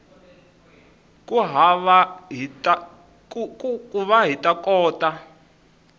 ku va hi ta kota